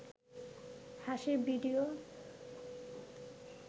হাসির ভিডিও